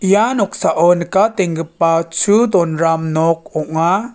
ia noksao nikatenggipa chu donram nok ong·a.